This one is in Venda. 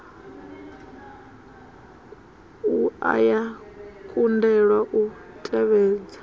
wua ya kundelwa u tevhedza